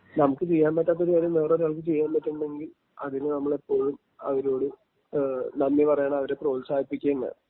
നമുക്ക് ചെയ്യാൻ പറ്റാത്ത കാര്യം വേറൊരാൾക്ക് ചെയ്യാൻ പറ്റുന്നുണ്ടെങ്കിൽ അതിനു നമ്മളിപ്പോഴും അവരോട് നന്ദി പറയണം അവരെ പ്രോത്സാഹിപ്പിക്കുകയും വേണം.